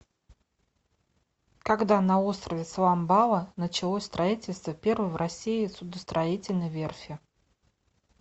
когда на острове соломбала началось строительство первой в россии судостроительной верфи